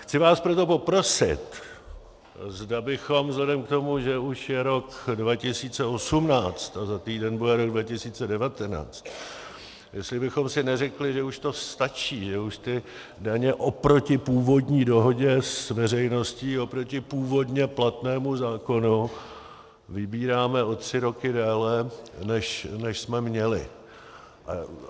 Chci vás proto poprosit, zda bychom vzhledem k tomu, že už je rok 2018 a za týden bude rok 2019, jestli bychom si neřekli, že už to stačí, že už ty daně oproti původní dohodě s veřejností, oproti původně platnému zákonu, vybíráme o tři roky déle, než jsme měli.